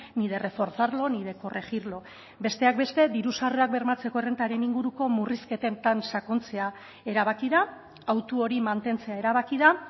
ni de reforzarlo ni de corregirlo besteak beste diru sarrerak bermatzeko errentaren inguruk murrizketetan sakontzea erabaki da autu hori mantentzea erabaki da